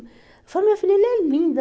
Eu falo, meu filho, ele é lindo.